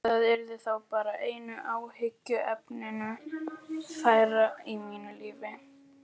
Það yrði þá bara einu áhyggjuefninu færra í mínu lífi.